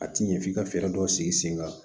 A ti ɲɛ f'i ka fɛɛrɛ dɔw sigi sen kan